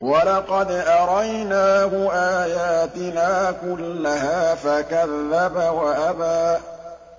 وَلَقَدْ أَرَيْنَاهُ آيَاتِنَا كُلَّهَا فَكَذَّبَ وَأَبَىٰ